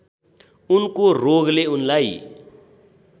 उनको रोगले उनलाई